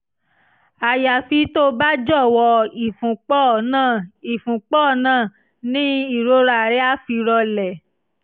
àyàfi tó o bá jọ̀wọ́ ìfúnpọ̀ náà ìfúnpọ̀ náà ni ìrora rẹ á fi rọlẹ̀